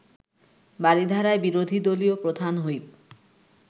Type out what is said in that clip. বারিধারায় বিরোধী দলীয় প্রধান হুইপ